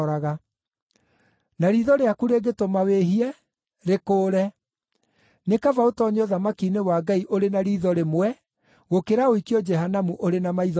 Na riitho rĩaku rĩngĩtũma wĩhie, rĩkũũre. Nĩ kaba ũtoonye ũthamaki-inĩ wa Ngai ũrĩ na riitho rĩmwe gũkĩra ũikio Jehanamu ũrĩ na maitho meerĩ,